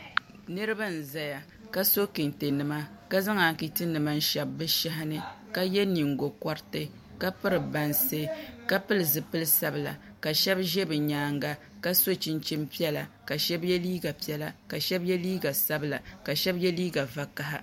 Niraba n ʒɛya ka so kɛntɛ nima ka zaŋ anchiti nima n shɛbi bi shahani ka yɛ nyingokoriti ka piri bansi ka pili zilili sabila ka shab ʒɛ bi nyaanga ka so chinchin piɛla ka shab yɛ liiga piɛla ka shab yɛ liiga sabila ka shab yɛ liiga vakaɣa